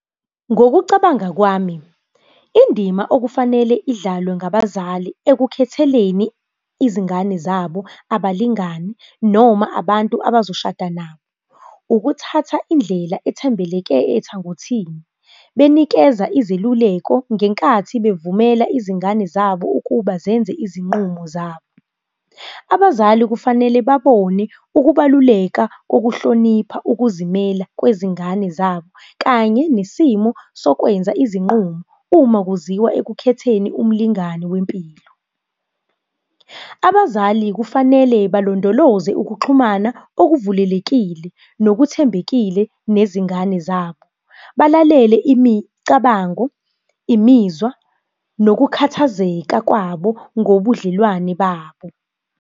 Ngokucabanga kwami, indima okufanele idlalwe ngabazali ekukhetheleni izingane zabo abalingani, noma abantu abazoshada nabo. Ukuthatha indlela ethembeleke ethangothini, benikeza izeluleko ngenkathi bevumela izingane zabo ukuba zenze izinqumo zabo. Abazali kufanele babone ukubaluleka kokuhlonipha ukuzimela kwezingane zabo, kanye nesimo sokwenza izinqumo, uma kuziwa ekukhetheni umlingani wempilo. Abazali kufanele balondoloze ukuxhumana okuvulelekile, nokuthembekile nezingane zabo. Balalele imicabango, imizwa, nokukhathazeka kwabo ngobudlelwane babo.